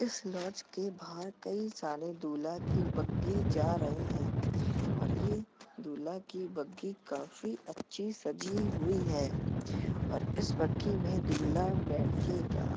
इस लॉज के बाहर कई सारे दुल्हा की बग्गी जा रहे हैं और ये दुल्हा की बग्गी काफी अच्छी सजी हुई है और इस बग्गी में दुल्हा बैठेगा।